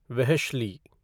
वेहश्ली